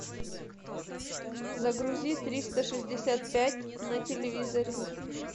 загрузи триста шестьдесят пять на телевизоре